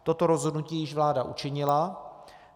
Toto rozhodnutí již vláda učinila.